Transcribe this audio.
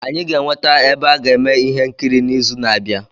Anyị ga-enweta ebe a ga-eme ihe nkiri n'izu na-abịa.